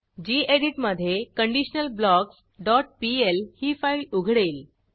गेडीत मधे conditionalblocksपीएल ही फाईल उघडेल